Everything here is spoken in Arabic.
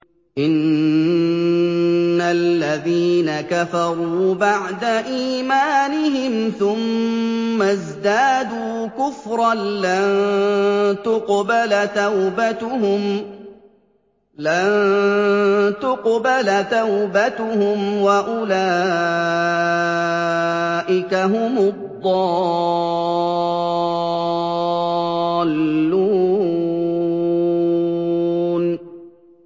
إِنَّ الَّذِينَ كَفَرُوا بَعْدَ إِيمَانِهِمْ ثُمَّ ازْدَادُوا كُفْرًا لَّن تُقْبَلَ تَوْبَتُهُمْ وَأُولَٰئِكَ هُمُ الضَّالُّونَ